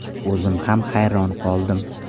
O‘zim ham hayron qoldim.